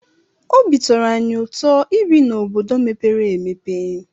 Obi tọrọ anyị ụtọ ibi n'obodo mepere emepe.